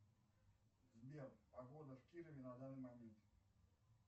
сбер погода в кирове на данный момент